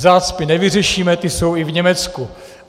Zácpy nevyřešíme, ty jsou i v Německu.